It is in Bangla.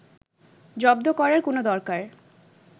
জব্দ করার কোনো দরকার